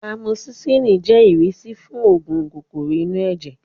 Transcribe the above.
Amosisilin jẹ́ ìrísí fún oògùn kòkòrò inú ẹ̀jẹ̀